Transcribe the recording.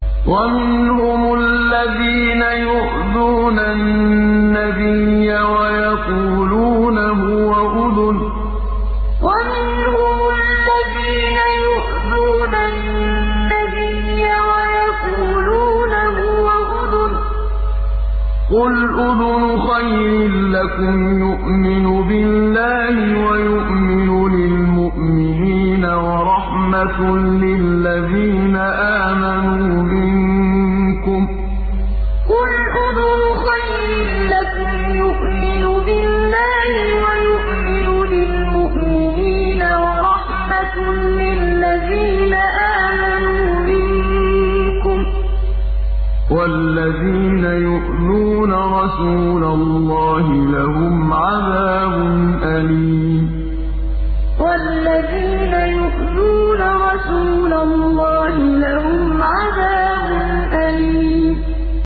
وَمِنْهُمُ الَّذِينَ يُؤْذُونَ النَّبِيَّ وَيَقُولُونَ هُوَ أُذُنٌ ۚ قُلْ أُذُنُ خَيْرٍ لَّكُمْ يُؤْمِنُ بِاللَّهِ وَيُؤْمِنُ لِلْمُؤْمِنِينَ وَرَحْمَةٌ لِّلَّذِينَ آمَنُوا مِنكُمْ ۚ وَالَّذِينَ يُؤْذُونَ رَسُولَ اللَّهِ لَهُمْ عَذَابٌ أَلِيمٌ وَمِنْهُمُ الَّذِينَ يُؤْذُونَ النَّبِيَّ وَيَقُولُونَ هُوَ أُذُنٌ ۚ قُلْ أُذُنُ خَيْرٍ لَّكُمْ يُؤْمِنُ بِاللَّهِ وَيُؤْمِنُ لِلْمُؤْمِنِينَ وَرَحْمَةٌ لِّلَّذِينَ آمَنُوا مِنكُمْ ۚ وَالَّذِينَ يُؤْذُونَ رَسُولَ اللَّهِ لَهُمْ عَذَابٌ أَلِيمٌ